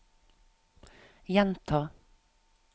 gjenta